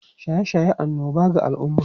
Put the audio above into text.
Shaye-shaye annoba ga al’umma